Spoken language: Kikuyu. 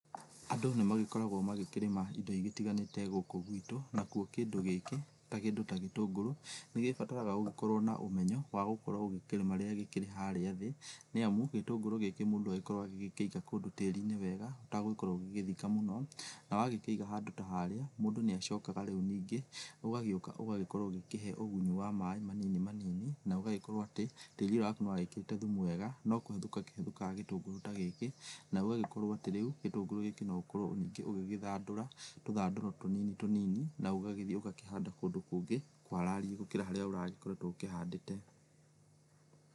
Andũ nĩmagĩkoragwo magĩkĩrĩma indo igĩtĩganĩte gũkũ gũitũ na kuo kĩndũ gĩkĩ ta kĩndũ ta gĩtũngũrũ nĩgĩbaraga ũgĩkorwo na ũmenyo wa gũkorwo ũgĩkĩrĩma rĩrĩa gĩkĩrĩ harĩa thĩ nĩ amũ gĩtũngũrũ gĩkĩ mũndũ agagĩkorwo agĩkienja kũndũ ta tĩri wega utagũkorwo ũgĩgĩthĩka mũno na wagĩkĩiga handũ ta harĩa mũndũ nĩ agĩcokaga rĩũ ningĩũgagĩũka ũgagĩkorwo ũgĩkĩhe ũgũni wa maĩ marĩa manini manini na ũgagĩkorwo atĩ tĩrĩ ũyũ wakũ nĩwekĩrĩte thũmũ wega nokũhũthĩka kĩhũthĩkaga gĩtũngũrũ ta gĩkĩ na ũgagĩkorwo ũgĩgĩthandũra tũthandũro tũnini tũnini na ũgagĩthiĩ ũgakĩhanda kũndũ kũngĩ kwarariĩ gũkĩra harĩa ũragĩkoretwo ũkĩhandĩte .